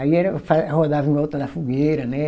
Aí era fa, rodava em volta da fogueira, né?